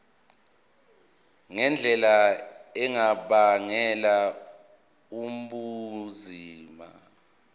ngendlela engabangela ubunzima